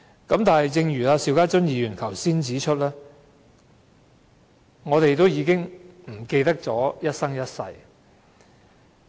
不過，正如邵家臻議員剛才指出，我們已經忘記何謂一生一世。